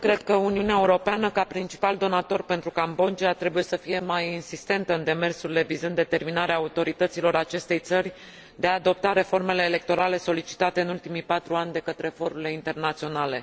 Cred că Uniunea Europeană, ca principal donator pentru Cambodgia, trebuie să fie mai insistentă în demersurile vizând determinarea autorităților acestei țări de a adopta reformele electorale solicitate în ultimii patru ani de către forurile internaționale.